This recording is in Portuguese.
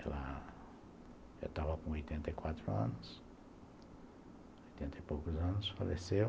Ela já estava com oitenta e quatro anos, oitenta e poucos anos, faleceu.